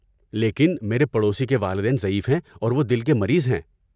لیکن میرے پڑوسی کے والدین ضعیف ہیں اور وہ دل کے مریض ہیں۔